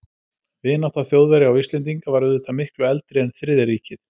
Vinátta Þjóðverja og Íslendinga var auðvitað miklu eldri en Þriðja ríkið.